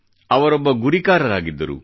ಅವರೊಬ್ಬ ಗುರಿಕಾರರಾಗಿದ್ದರು